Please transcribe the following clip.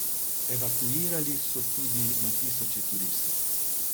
Evakuirali so tudi na tisoče turistov.